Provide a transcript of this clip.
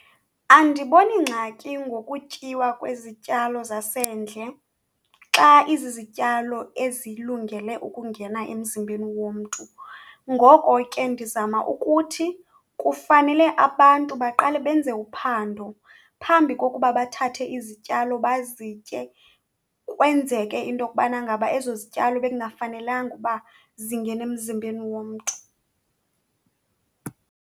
Andiboni ngxaki ngokutyiwa kwezityalo zasendle xa izizityalo ezilungele ukungena emzimbeni womntu. Ngoko ke ndizama ukuthi kufanele abantu baqale benze uphando phambi kokuba bathathe izityalo bazitye kwenzeke into yokubana ngaba ezo zityalo bekungafanelanga uba zingena emzimbeni womntu.